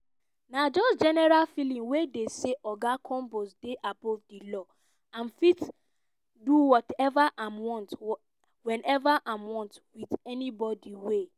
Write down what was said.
"na just general feeling wey dey say [oga combs] dey above di law im fit do whatever im want whenever im want wit anybodi wey